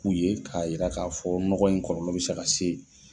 U ye k'a yira k'a fɔ nɔgɔ in kɔlɔlɔ bɛ se ka se.